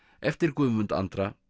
eftir Guðmund Andra